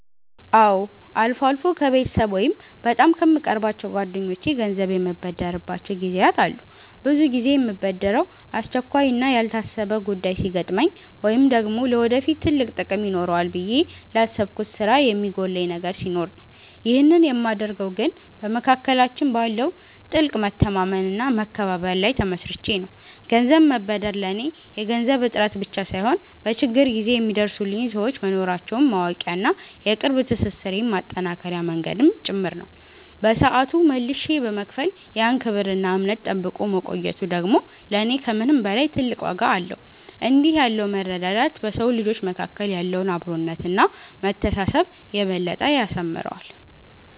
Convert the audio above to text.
አዎ፣ አልፎ አልፎ ከቤተሰብ ወይም በጣም ከምቀርባቸው ጓደኞቼ ገንዘብ የምበደርባቸው ጊዜያት አሉ። ብዙ ጊዜ የምበደረው አስቸኳይና ያልታሰበ ጉዳይ ሲገጥመኝ ወይም ደግሞ ለወደፊት ትልቅ ጥቅም ይኖረዋል ብዬ ላሰብኩት ስራ የሚጎድለኝ ነገር ሲኖር ነው። ይህንን የማደርገው ግን በመካከላችን ባለው ጥልቅ መተማመንና መከባበር ላይ ተመስርቼ ነው። ገንዘብ መበደር ለኔ የገንዘብ እጥረት ብቻ ሳይሆን፣ በችግር ጊዜ የሚደርሱልኝ ሰዎች መኖራቸውን ማወቂያና የቅርብ ትስስሬን ማጠናከሪያ መንገድም ጭምር ነው። በሰዓቱ መልሼ በመክፈል ያን ክብርና እምነት ጠብቆ መቆየቱ ደግሞ ለኔ ከምንም በላይ ትልቅ ዋጋ አለው። እንዲህ ያለው መረዳዳት በሰው ልጆች መካከል ያለውን አብሮነትና መተሳሰብ የበለጠ ያሳምረዋል።